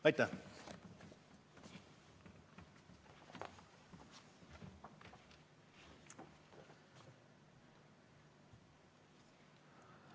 Aitäh!